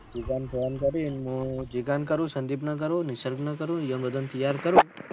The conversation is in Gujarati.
જીગા ને ફોન કરી હું જીગા ને કરું સંદીપ ને કરું નિસર્ગ ને કરું એ બધા તૌયાર કરીશ